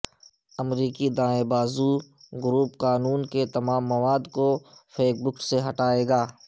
امریکی دائیں بازو گروپ کانون کے تمام مواد کو فیس بک ہٹائے گا